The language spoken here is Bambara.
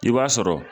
I b'a sɔrɔ